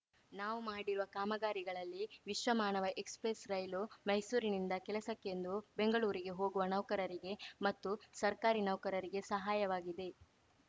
ನಾವು ಮಾಡಿರುವ ಕಾಮಗಾರಿಗಳಲ್ಲಿ ವಿಶ್ವಮಾನವ ಎಕ್ಸಪ್ರೆಸ್‌ ರೈಲು ಮೈಸೂರಿನಿಂದ ಕೆಲಸಕ್ಕೆಂದು ಬೆಂಗಳೂರಿಗೆ ಹೋಗುವ ನೌಕರರಿಗೆ ಮತ್ತು ಸರ್ಕಾರಿ ನೌಕರರಿಗೆ ಸಹಾಯವಾಗಿದೆ